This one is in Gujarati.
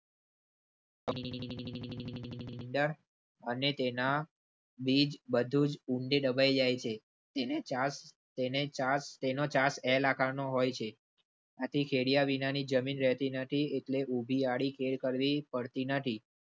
અને તેના બીજ બધું જ ઊંચી દબાઈ જાય છે તેને નો હોય છે. આથિ ખેડીયા વિનાની જમીન રહેતી નથી એટલે ઉભી આડી ખેડ કરવી પડતી નથી.